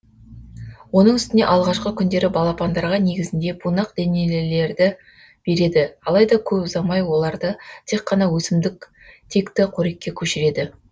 оның үстіне алғашқы күндері балапандарға негізінде бунақденелілерді береді алайда көп ұзамай оларды тек қана өсімдік текті қорекке көшіреді